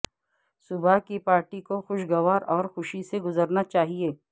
صبح کی پارٹی کو خوشگوار اور خوشی سے گزرنا چاہئے